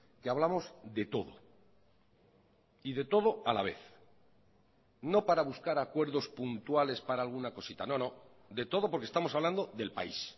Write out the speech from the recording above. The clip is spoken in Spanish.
que hablamos de todo y de todo a la vez no para buscar acuerdos puntuales para alguna cosita no no de todo porque estamos hablando del país